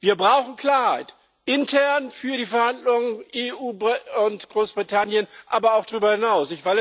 Wir brauchen Klarheit intern für die Verhandlungen zwischen EU und Großbritannien, aber auch darüber hinaus!